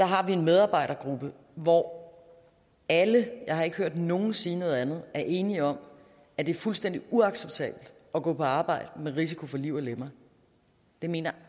har vi en medarbejdergruppe hvor alle jeg har ikke hørt nogen sige noget andet er enige om at det er fuldstændig uacceptabelt at gå på arbejde med risiko for liv og lemmer det mener